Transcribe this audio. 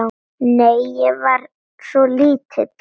Nei, ég var svo lítil.